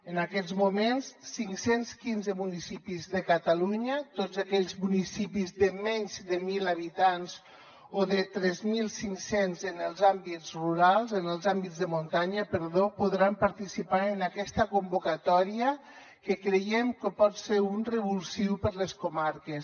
en aquests moments cinc cents i quinze municipis de ca talunya tots aquells municipis de menys de mil habitants o de tres mil cinc cents en els àmbits de muntanya podran participar en aquesta convocatòria que creiem que pot ser un revulsiu per a les comarques